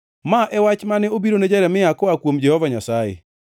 Ma e wach mane obirone Jeremia koa kuom Jehova Nyasaye: